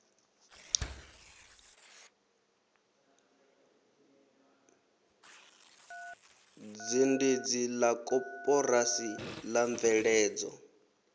zhendedzi la koporasi la mveledzo